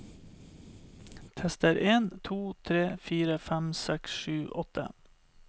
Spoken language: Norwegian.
Tester en to tre fire fem seks sju åtte